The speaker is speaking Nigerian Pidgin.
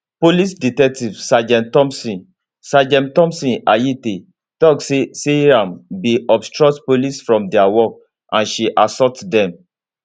police detective sergeant thomson sergeant thomson ayitey tok say seyram bin obstruct police from dia work and she assault dem